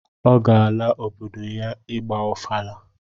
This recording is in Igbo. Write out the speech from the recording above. Ọ ga-ala obodo ya ịgba ọfala